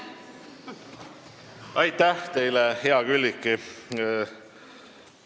Aitäh teile, hea Külliki!